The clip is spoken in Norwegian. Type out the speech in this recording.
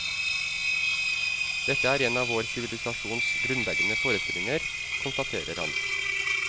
Dette er en av vår sivilisasjons grunnleggende forestillinger, konstaterer han.